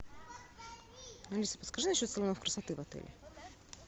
алиса подскажи насчет салонов красоты в отеле